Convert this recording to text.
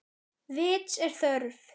Vits er þörf